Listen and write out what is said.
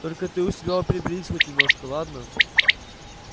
только ты у себя приберись хоть немножко ладно